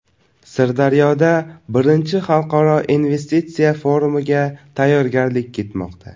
Sirdaryoda I Xalqaro investitsiya forumiga tayyorgarlik ketmoqda.